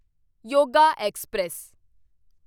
yoga express